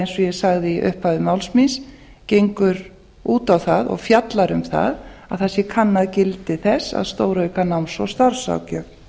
eins og ég sagði í upphafi máls míns gengur út á það og fjallar um að það sé kannað gildi þess að stórauka náms og starfsráðgjöf